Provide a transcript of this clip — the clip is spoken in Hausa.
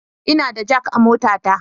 Ina da jak a motata